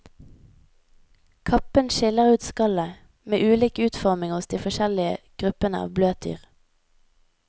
Kappen skiller ut skallet, med ulik utforming hos de forskjellige gruppene av bløtdyr.